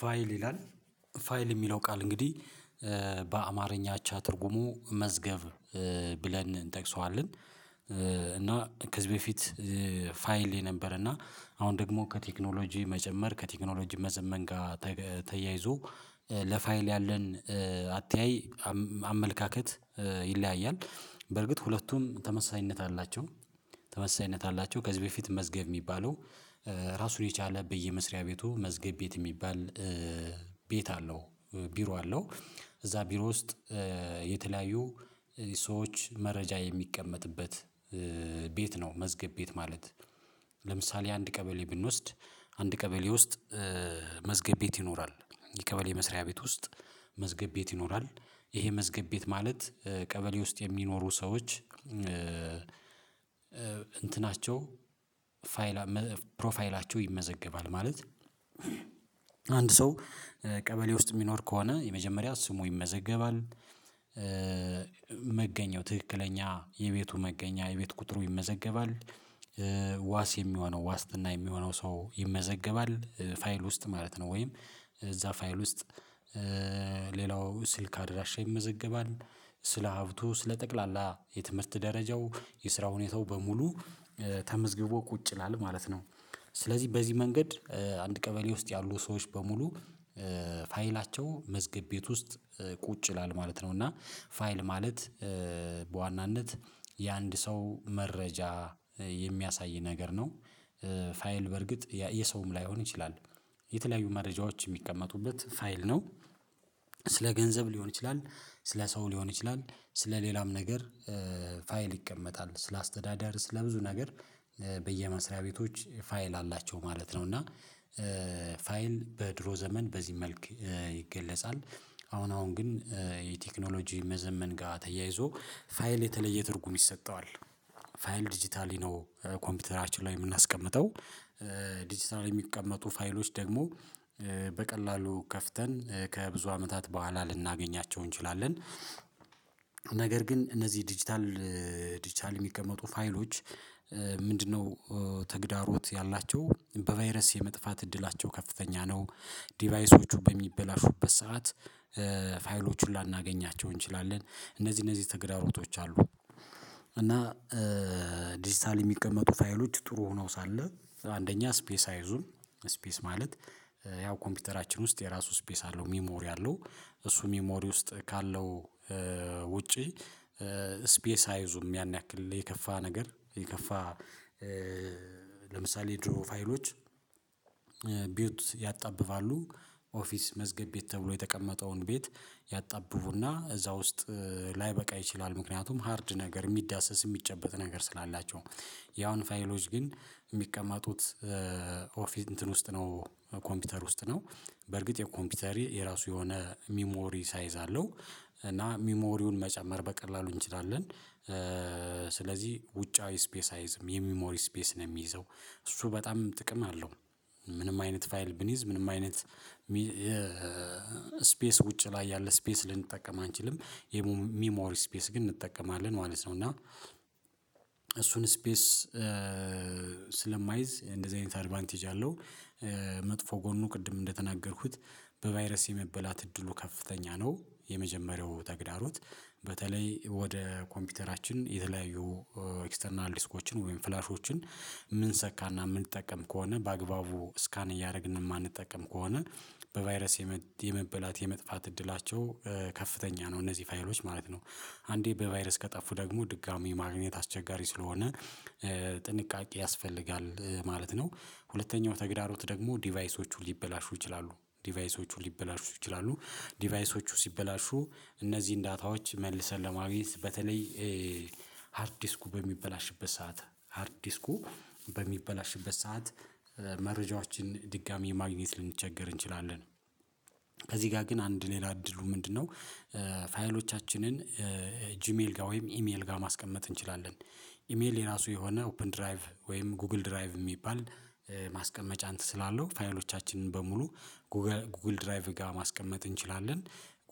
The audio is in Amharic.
ፋይል ይላል ፋይል ሚለው ቃል እንግዲህ በአማርኛ አቻ ትርጉሙ መዝገብ ብለን እንጠቅሰዋለን። እና ከዚህ በፊት ፋይል የነበረ እና አሁን ደግሞ ከቴክኖሎጂ መጨመር ከቴክኖሎጂ መዘመን ጋር ተያይዞ ለፋይል ያለን አተያይ አመለካከት ይለያያል በርግጥ ሁለቱም ተመሳሳይነት አላቸው። ተመሳሳይነት አላቸው ከዚህ በፊት መዝገብ ሚባለው ራሱን የቻለ በየመስሪያ ቤቱ መዝገብ ቤት ሚባል ቤት አለው ቢሮ አለው እዛ ቢሮ ውስጥ የተለያዩ ሰዎች መረጃ የሚቀመጥበት ቤት ነው። መዝገብ ቤት ማለት ለምሳሌ አንድ ቀበሌ ብንወስድ አንድ ቀበሌ ውስጥ መዝገብ የት ይኖራል? የቀበሌ መስሪያ ቤት ውስጥ መዝገብ ቤት ይኖራል ይሄ መዝገብ ቤት ማለት ቀበሌ ውስጥ የሚኖሩ ሰዎች እንትናቸው ፋይል ፕሮፋይላቸው ይመዘገባል። ማለት ሰው ቀበሌ ውስጥ ሚኖር ከሆነ የመጀመሪያ ስሙ ይመዘገባል። ትክክለኛ የቤቱ መገኛ የቤት ቁጥሩ ይመዘገባል ዋስ የሚሆነው ዋስትና የሚሆነው ሰው ይመዘገባል ፋይል ውስጥ ማለት ነው። ወይም እዛ ፋይል ውስጥ ስልክ አድራሻ ይመዘገባል ስለ ሀብቱ ስለ ጠቅላላ የትምህርት ደረጃው የስራ ሁኔታው በሙሉ ተመዝግቦ ቁጭ ይላል ማለት ነው። ስለዚህ በዚህ መንገድ አንድ ቀበሌ ውስጥ ያሉ ሰዎች በሙሉ ፋይላቸው መዝገብ ቤት ውስጥ ቁጭ ይላል ማለት ነው። እና ፋይል ማለት በዋናነት የአንድ ሰው መረጃ የሚያሳይ ነገር ነው። ፋይል በርግጥ የሰውም ላይሆን ይችላል የተለያዩ መረጃዎች ሚቀመጡበት ፋይል ነው። ገንዘብ ሊሆን ይችላል ስለ ሰው ሊሆን ይችላል ስለ ሌላም ነገር ፋይል ይቀመጣል ስለ አስተዳደር ስለ ብዙ ነገር በየመስሪያ ቤቶች ፋይል አላቸው ማለት ነው። እና ፋይል በድሮ ዘመን በዚህ መልክ ይገለጻል አሁን አሁን ግን የቴክኖሎጂ መዘመን ጋ ተያይዞ ፋይል የተለየ ትርጉም ይሰጠዋል። ፋይል ዲጂታሊ ነው ኮምፒውተራችን ላይ የምናስቀምጠው ዲጂታሊ ሚቀመጡ ፋይሎች ደግሞ በቀላሉ ከፍተን ከብዙ አመታት በኋላ ልናገኛቸው እንችላለን። ነገር ግን እነዚህ ዲጂታል ዲጂታል ሚቀመጡ ፋይሎች ምንድን ነው? ተግዳሮት ያላቸው በቫይረስ የመጥፋት እድላቸው ከፍተኛ ነው። ዲቫይሶቹ በሚበላሹበት ሰዓት ፋይሎቹን ላናገኛቸው እንችላለን እነዚህ እነዚህ ተግዳሮቶች አሉ። እና ዲጂታሊ ሚቀመጡ ታይሎች ጥሩ ሆነው ሳለ አንደኛ ስፔስ አይዙም ስፔስ ማለት ያው ኮምፒውተራችን ውስጥ የራሱ ስፔስ አለው ሚሞሪ አለው። እሱ ሚሞሪ ውስጥ ካለው ውጪ ስፔስ አይዙም ያን ያክል የከፋ ነገር የከፋ ለምሳሌ ድሮ ፋይሎች ቢውት ያጣብባሉ ኦፊስ መዝገብ ቤት ተብሎ የተቀመጠውን ቤት ያጣብቡና እዛ ውስጥ ላይበቃ ይችላል። ምክንያቱም ሃርድ ነገር የሚዳሰስ የሚጨበጥ ነገር ስላላቸው ያሁን ፋይሎች ግን ሚቀመጡት ኦፊስ እንትን ውስጥ ነው ኮምፒውተር ውስጥ ነው በርግጥ የኮምፒውተር የራሱ የሆነ ሚሞሪ ሳይዝ አለው እና ሚሞሪውን መጨመር በቀላሉ እንችላለን። ስለዚህ ውጫዊ ስፔስ አይዝም የሚሞሪ ስፔስ ነው ሚይዘው እሱ በጣም ጥቅም አለው። ምንም አይነት ፋይል ብንይዝ ምንም አይነት ስፔስ ውጪ ላይ ያለ ስፔስ ልንጠቀም አንችልም የሚሞሪ ስፔስ ግን እንጠቀማለን ማለት ነው። እና እሱን ስፔስ ስለማይዝ እንደዚህ አይነት አድቫንቴጅ አለው። መጥፎ ጎኑ ቅድም እንደተናገርኩት በቫይረስ የመበላት እድሉ ከፍተኛ ነው። የመጀመሪያው ተግዳሮት በተለይ ወደ ኮምፒውተራችን የተለያዩ ኤክስተርናል ዲስኮችን ወይም ፍላሾችን ምንሰካና ምንጠቀም ከሆነ በአግባቡ ስካን እያረግን ማንጠቀም ከሆነ በቫይረስ የመበላት የመጥፋት እድላቸው ከፍተኛ ነው። እነዚህ ፋይሎች ማለት ነው አንዴ በቫይረስ ከጠፉ ደግሞ ድጋሚ ማግኘት አስቸጋሪ ስለሆነ ጥንቃቄ ያስፈልጋል ማለት ነው። ሁለተኛው ተግዳሮት ደግሞ ዲቫይሶቹ ሊበላሹ ይችላሉ ዲቫይሶቹ ሊበላሹ ይችላሉ ዲቫይሶቹ ሲበላሹ እነዚህን ዳታዎች መልሰን ለማግኘት በተለይ ሃርድ ዲስኩ በሚበላሽበት ሰዓት ሃርድ ዲስኩ በሚበላሽበት ሰዓት መረጃዎችን ድጋሜ ማግኜት ልንቸገር እንችላለን። ከዚህ ጋር ግን አንድ ሌላ እድሉ ምንድን ነው? ፋይሎቻችንን ጅሜል ጋ ወይም ኢሜል ጋ ማስቀመጥ እንችላለን። ኢሜል የራሱ የሆነ ኦፕን ድራይቭ ወይም ጉግል ድራይቭ የሚባል ማስቀመጫ እንት ስላለው ፋይሎቻችንን በሙሉ ጉግል ድራይቭ ጋ ማስቀመጥ እንችላለን።